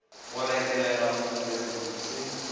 go retelega thula sekutu se